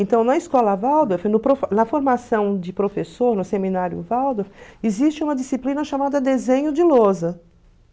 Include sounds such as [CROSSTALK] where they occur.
Então, na escola Waldorf, [UNINTELLIGIBLE] na formação de professor no seminário Waldorf, existe uma disciplina chamada desenho de lousa.